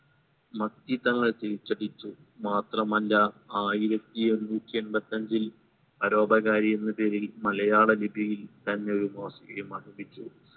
മത്തി തങ്ങൾ തിരിച്ചടിച്ചു മാത്രമല്ല ആയിരത്തി എണ്ണൂറ്റി എമ്പത്തിഅഞ്ചിൽ പരോപകാരി എന്ന പേരിൽ മലയാള ലിപിയിൽ തന്നെ ഒരു മോസിയം ആരംഭിച്ചു